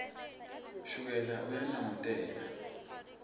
shukela uyanongotela